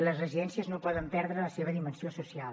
les residències no poden perdre la seva dimensió social